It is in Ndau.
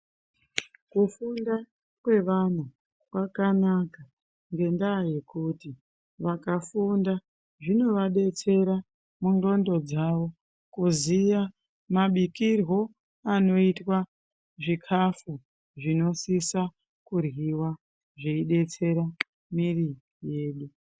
Kufunda kwe vana kwakanaka ngendaa yekuti vakafunda zvinova detsera mu ndxondo dzavo kuziya mabikirwo anoitwa zvikafu zvino sisa ku ryiwa zvei detsera mwiri yedu.